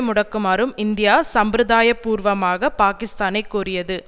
முடக்குமாறும் India சம்பிரதாயப்பூர்வமாக பாக்கிஸ்தானைக் கோரியது